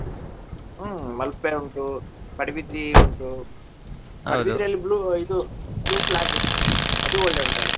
ಹುಂ ಮಲ್ಪೆ ಉಂಟು, ಪಡುಬಿದ್ರೀ ಉಂಟು ಇದು blue flag ಅದು ಒಳ್ಳೆ ಉಂಟಲ್ಲಾ.